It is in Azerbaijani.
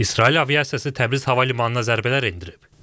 İsrail aviasiyası Təbriz hava limanına zərbələr endirib.